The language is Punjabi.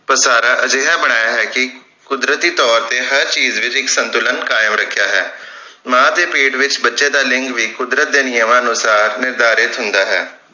ਵਸਾਰਾ ਅਜਿਹਾ ਬਣਾਇਆ ਹੈ ਕਿ ਕੁਦਰਤੀ ਤੌਰ ਤੇ ਹਰ ਚੀਜ ਵਿਚ ਇਕ ਸੰਤੁਲਨ ਕਾਇਮ ਰਖਿਆ ਹੈ ਮਾਂ ਦੇ ਪੇਟ ਵਿਚ ਬੱਚੇ ਦਾ ਲਿੰਗ ਵੀ ਕੁੱਦਰਤ ਦੇ ਨਿਯਮਾਂ ਅਨੁਸਾਰ ਨਿਰਧਾਰਿਤ ਹੁੰਦਾ ਹੈ